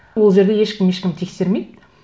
ол жерде ешкім ешкімді тексермейді